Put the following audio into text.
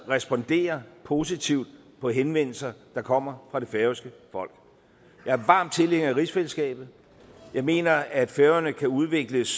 respondere positivt på henvendelser der kommer fra det færøske folk jeg er varm tilhænger af rigsfællesskabet jeg mener at færøerne kan udvikles